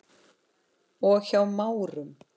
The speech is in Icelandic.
og Hjá Márum.